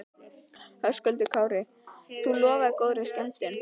Höskuldur Kári: Þú lofar góðri skemmtun?